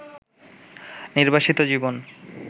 নির্বাসিত জীবন